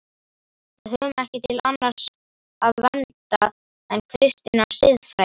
Við höfum ekki til annars að venda en kristinnar siðfræði.